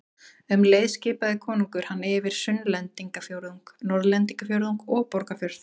Um leið skipaði konungur hann yfir Sunnlendingafjórðung, Norðlendingafjórðung og Borgarfjörð.